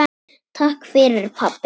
Takk fyrir pabbi.